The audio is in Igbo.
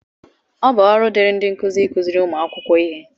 ọ bụ ọrụ dịịrị ndị nkuzi ịkụziri ụmụ akwụkwọ ihe